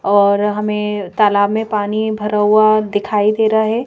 और हमें तालाब में पानी भरा हुआ दिखाई दे रहा है।